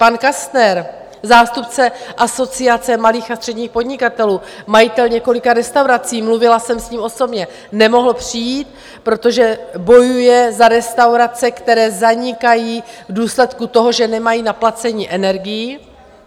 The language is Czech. Pan Kastner, zástupce Asociace malých a středních podnikatelů, majitel několika restaurací, mluvila jsem s ním osobně, nemohl přijít, protože bojuje za restaurace, které zanikají v důsledku toho, že nemají na placení energií.